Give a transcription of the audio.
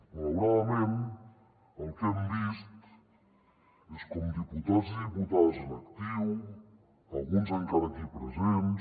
malauradament el que hem vist és com diputats i diputades en actiu alguns encara aquí presents